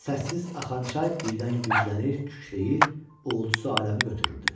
Səssiz axan çay birdən güclənir, kükrəyir, ulusu aləmi götürürdü.